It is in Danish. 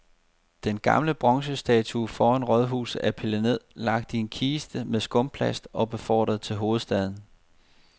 Den gamle bronzestatue foran rådhuset er pillet ned, lagt i en kiste med skumplast og befordret til hovedstaden.